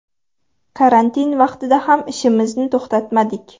Karantin vaqtida ham ishimizni to‘xtatmadik.